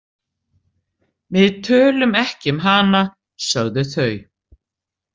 Við tölum ekki um hana, sögðu þau.